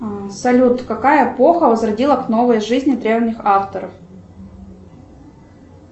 салют какая эпоха возродила к новой жизни древних авторов